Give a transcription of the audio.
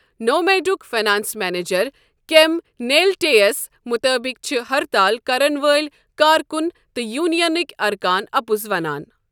نوامیڈُک finance manager کیم نیلٹے یَس مُطٲبِق چھِ ہڑتال کرَن وٲلۍ کارکُن تہٕ یونین نٕکۍ ارکان اپُز وانان۔